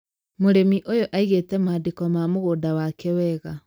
mũrĩmi ũyũ aĩngĩte mandĩko ma mũgũnda wake wega